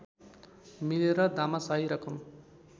मिलेर दामासाही रकम